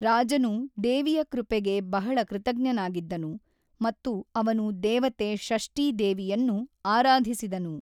ರಾಜನು ದೇವಿಯ ಕೃಪೆಗೆ ಬಹಳ ಕೃತಜ್ಞನಾಗಿದ್ದನು ಮತ್ತು ಅವನು ದೇವತೆ ಷಷ್ಠೀ ದೇವಿಯನ್ನು ಆರಾಧಿಸಿದನು.